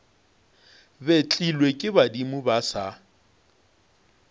betlilwe ke badimo ba sa